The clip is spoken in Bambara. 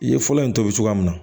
I ye fɔlɔ in tobi cogoya min na